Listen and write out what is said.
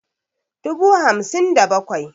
dubu hamsin da bakwai